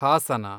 Hassan